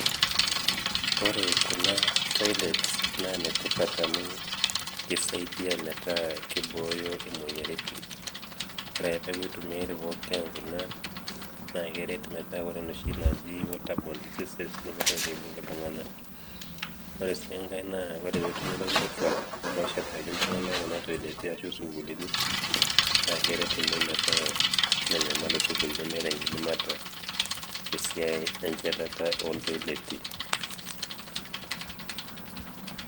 ore kuna toilets naa ine tipat amu kisaidia metaku kibooyo emoyiaritin, ore ake peeku emoyian kuna, naa keret metaku ore noshi naji waterborne diseases nemeitoki aibung iltunganak. ore sii enkae naa ore pee etumi ilaisotuak looshetaki iltungank kuna tokitin ashu isukuulini naa keret oleng metaa menyamal oleng te sukuul nemeeta enkidimata tesiai enchatata oo ntoileti.